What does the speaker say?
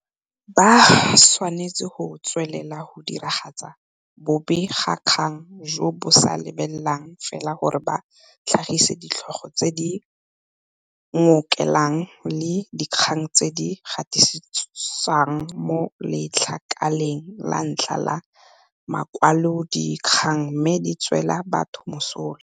Ba tshwanetse go tswelela go diragatsa bobegakgang jo bo sa lebelelang fela gore ba tlhagise ditlhogo tse di ngokelang le dikgang tse di gatisiwang mo letlakaleng la ntlha la makwalodikgang mme di tswela batho mosola.